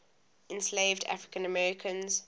enslaved african americans